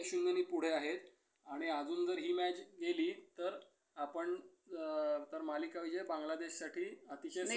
एक शून्य ने पुढे आहेत. आणि अजून जर हि match गेली तर आपण तर मालिका विजय बांगलादेश साठी अतिशय सोपा होऊन जाईल.